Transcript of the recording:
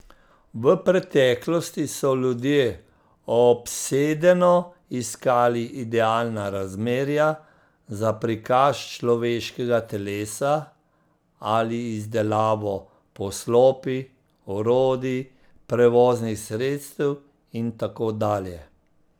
V preteklosti so ljudje obsedeno iskali idealna razmerja za prikaz človeškega telesa ali izdelavo poslopij, orodij, prevoznih sredstev in tako dalje.